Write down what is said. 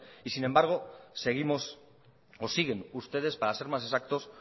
y sin embargo siguen ustedes